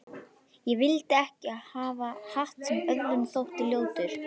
Ég vildi ekki hafa hatt sem öðrum þótti ljótur.